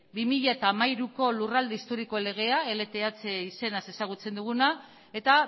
bi mila hamairuko lurralde historikoen legea lth izenaz ezagutzen duguna eta